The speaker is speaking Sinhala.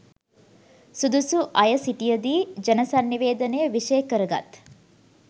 සුදුසු අයසිටිය දී ජනසන්නිවේදනය විෂය කරගත්